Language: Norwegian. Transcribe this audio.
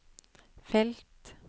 felt